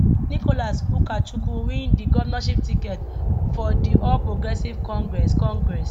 nicholas ukachukwu win di govnornship ticket for di all progressives congress congress